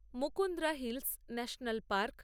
Mukundra hills national park